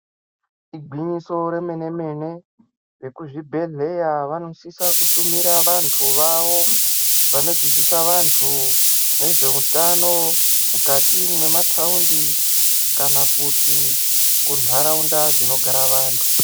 Igwinyiso remene-mene. Vekuzvibhehleya vonisisa kutumira vantu vavo vanodzidzisa vantu nezveutano mukati mwemataundi kana kuti kuntaraunda dzinogara vantu.